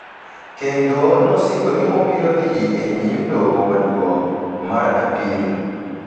kendo nosingo ni obiro dhi e nyim Doho Maduong’ mar Apil.